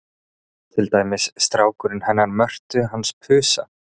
Til dæmis strákurinn hennar Mörtu hans Pusa.